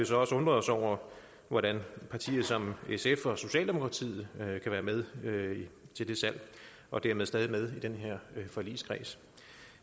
så også undret os over hvordan partier som sf og socialdemokratiet kan være med med til det salg og dermed stadig med i den her forligskreds